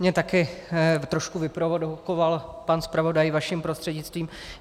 Mě taky trošku vyprovokoval pan zpravodaj vaším prostřednictvím.